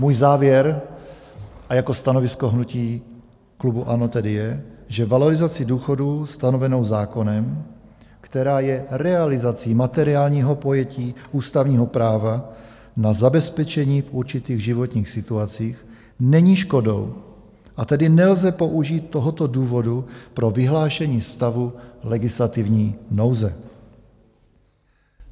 Můj závěr a jako stanovisko hnutí klubu ANO tedy je, že valorizací důchodů stanovenou zákonem, která je realizací materiálního pojetí ústavního práva na zabezpečení v určitých životních situacích, není škodou, a tedy nelze použít tohoto důvodu pro vyhlášení stavu legislativní nouze.